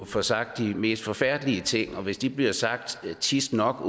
får sagt de mest forfærdelige ting hvis de åbenbart bliver sagt tit nok